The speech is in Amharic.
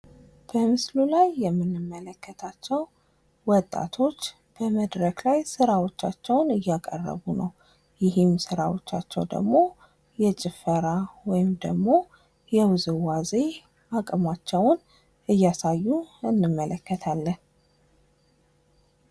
በምስሉ ላይ የምንመለከታቸው ወጣቶች በመድረክ ላይ ሥራዎቻቸውን እያቀረቡ ነው ፤ ይህም ስራዎቻቸው ደሞ የጭፈራ ወይም ደሞ የዉዝዋዜ አቅማቸዉን እያሳዩ እንመለከታለን ።